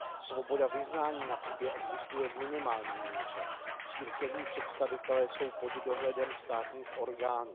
Svoboda vyznání na Kubě existuje v minimální míře, církevní představitelé jsou pod dohledem státních orgánů.